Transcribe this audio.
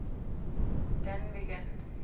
dunvegan